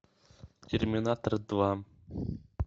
терминатор два